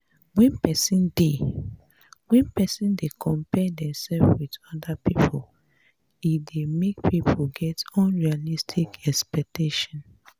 when person dey when person dey compare themself with oda pipo e dey make pipo get unrealistic expectation